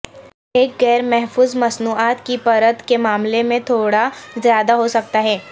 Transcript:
ایک غیر محفوظ مصنوعات کی پرت کے معاملے میں تھوڑا زیادہ ہو سکتا ہے